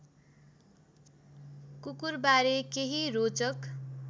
कुकुरबारे केही रोचक